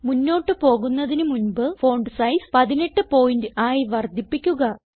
മുന്നോട്ട് പോകുന്നതിന് മുൻപ് ഫോണ്ട് സൈസ് 18 പോയിന്റ് ആയി വർദ്ധിപ്പിക്കുക